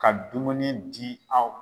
Ka dumuni di aw